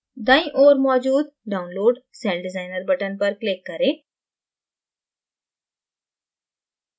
दायीं ओर मौजूद download celldesigner button पर click करें